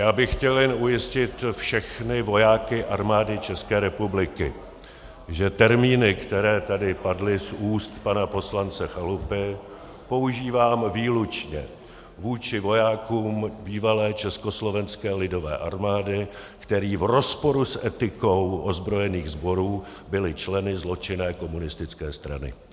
Já bych chtěl jen ujistit všechny vojáky Armády České republiky, že termíny, které tady padly z úst pana poslance Chalupy, používám výlučně vůči vojákům bývalé Československé lidové armády, kteří v rozporu s etikou ozbrojených sborů byli členy zločinné komunistické strany.